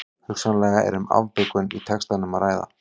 Hugsanlega er um afbökun í textanum að ræða.